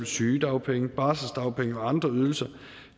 sygedagpenge barselsdagpenge og andre ydelser